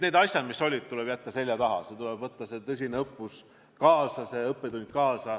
Need asjad, mis olid, tuleb jätta seljataha ja võtta sellest ajast kaasa saadud õppetund.